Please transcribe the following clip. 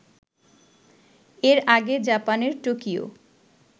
এর আগে জাপানের টোকিও